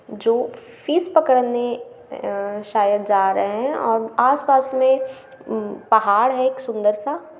जो फिश पकड़ने अ...शायद जा रहे है और आस-पास में पहाड़ है एक सुंदर सा।